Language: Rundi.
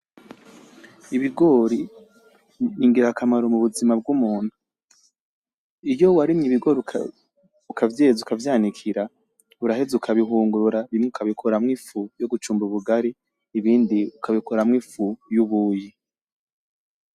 Ibigori n’ingirakamaro mu buzima bw’umuntu. Iyo warimye ibigori ukavyeza ukavyanikira uraheza ukabihungurura bimwe ukabikuramwo ifu yo gucumba ubugari ibindi ukabikuramwo ifu y’ubuyi.